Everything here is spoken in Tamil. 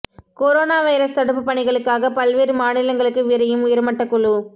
கொரோனா வைரஸ் தடுப்பு பணிகளுக்காக பல்வேறு மாநிலங்களுக்கு விரையும் உயர்மட்டக் குழு